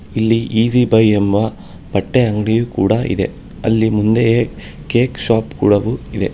ಇಲ್ಲಿ easy buy ಎಂಬ ಬಟ್ಟೆ ಅಂಗಡಿಯು ಕೂಡ ಇದೆ ಅಲ್ಲಿ ಮುಂದೆಯೇ ಕೇಕ್ ಶಾಪ್ ಕೂಡವೂ ಇದೆ.